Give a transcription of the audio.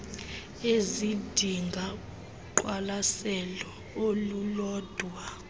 ezidinga uqwalaselo olulodwa